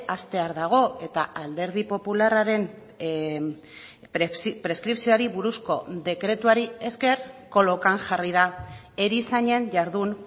hastear dago eta alderdi popularraren preskripzioari buruzko dekretuari esker kolokan jarri da erizainen jardun